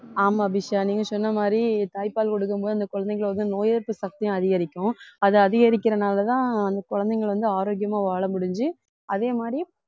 ஆமா அபிஷா நீங்க சொன்ன மாதிரி தாய்ப்பால் கொடுக்கும் போது அந்த குழந்தைங்களை வந்து நோய் எதிர்ப்பு சக்தியும் அதிகரிக்கும் அது அதிகரிக்கிறனாலதான் அந்த குழந்தைங்க வந்து ஆரோக்கியமா வாழ முடிஞ்சு அதே மாதிரி